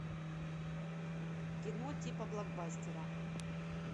кино типа блокбастера